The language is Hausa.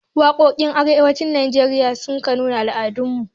Waƙoƙin arewacin najeriya sukan nuna al'adun mu